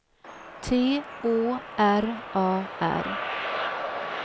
T Å R A R